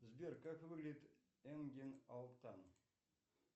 сбер как выглядит энген алтан